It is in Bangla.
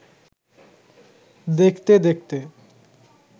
দেখতে-দেখতে